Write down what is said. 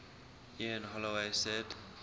ian holloway said